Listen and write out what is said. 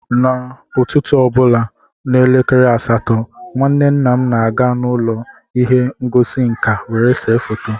n’ụtụtụ ọ bụla n’elekere asatọ nke, nwanne nna m na-aga n’ụlọ ihe ngosi nka were se foto